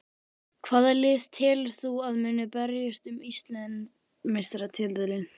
Hvaða lið telur þú að muni berjast um Íslandsmeistaratitilinn?